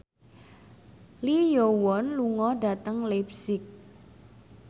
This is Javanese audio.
Lee Yo Won lunga dhateng leipzig